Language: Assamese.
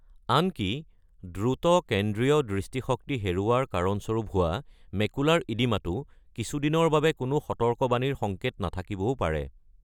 আনকি দ্ৰুত কেন্দ্ৰীয় দৃষ্টিশক্তি হেৰুওৱাৰ কাৰণস্বৰূপ হোৱা মেকুলাৰ ইডিমাতো কিছুদিনৰ বাবে কোনো সতৰ্কবাণীৰ সংকেত নাথাকিবও পাৰে।